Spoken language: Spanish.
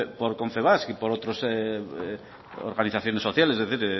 por confebask y por otros organizaciones sociales es decir